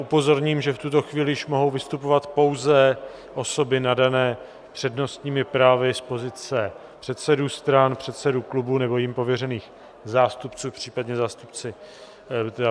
Upozorním, že v tuto chvíli již mohou vystupovat pouze osoby nadané přednostními právy z pozice předsedů stran, předsedů klubů nebo jimi pověřených zástupců, případně členové vlády.